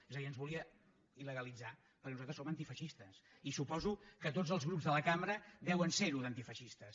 és a dir ens volia il·legalitzar perquè nosaltres som antifeixistes i suposo que tots els grups de la cambra deuen ser ho d’antifeixistes